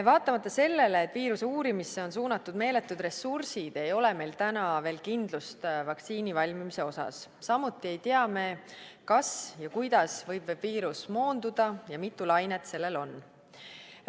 Vaatamata sellele, et viiruse uurimisse on suunatud meeletud ressursid, ei ole meil täna veel kindlust vaktsiini valmimise osas, samuti ei tea me, kas ja kuidas võib viirus moonduda ja mitu lainet sellel on.